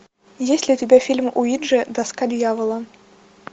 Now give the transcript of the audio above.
есть ли у тебя фильм уиджи доска дьявола